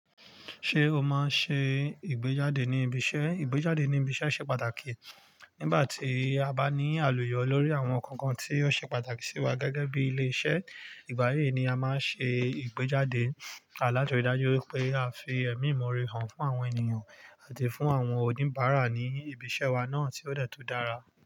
Ṣé o máa ṣe ìgbéjáde ní ibi iṣẹ́? Ìgbéjáde ní ibi iṣẹ́ ṣe pàtàkì. Nígbà tí a bá ní àlùyọ lórí àwọn nǹkan kan tí ó ṣe pàtàkì sí wa gẹ́gẹ́ bí ilé iṣẹ́, ìgbà yí ni a máa ṣe ìgbéjáde à láti rí i dájú pé a fi ẹ̀mí ìmoore hàn fún àwọn ènìyàn àti fún àwọn oníbàárà ní ibi iṣẹ́ wa náà tí ó de tun dára.